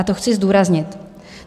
A to chci zdůraznit.